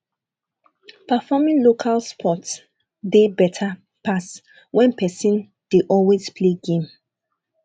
perfroming local sports dey better pass when person dey always play game